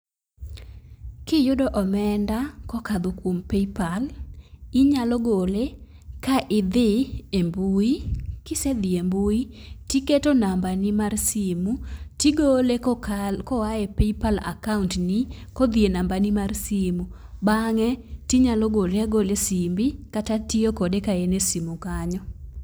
Kiyudo omenda kokadho kuom paypal inyalo gole ka idhi e mbui . Kisedhi e mbui tiketo nambani mar simu tigole koka koa e akaunt ni kodhi e nambani mar simu. Bang'e tinyalo gole agola e simbi kata tiyo kode ka en e simu kanyo.